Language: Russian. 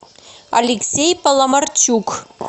алексей паламарчук